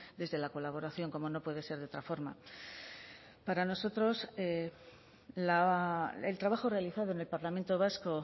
desde la colaboración como no puede ser de otra forma para nosotros el trabajo realizado en el parlamento vasco